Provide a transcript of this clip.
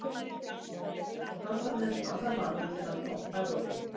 Og samt var hann eins og annar maður, þegar hann kom frá Evrópu.